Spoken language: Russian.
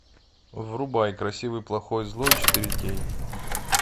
врубай красивый плохой злой четыре кей